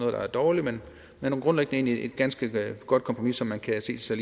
dårligt men grundlæggende er det et ganske godt kompromis som man kan se sig